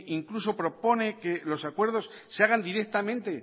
incluso propone que los acuerdos se hagan directamente